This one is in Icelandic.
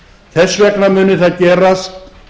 þess vegna muni það gerast